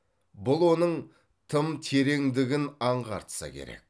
бұл оның тым тереңдігін аңғартса керек